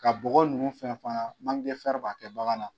Ka bɔgɔ ninnu fɛn fana b'a kɛ bagan na.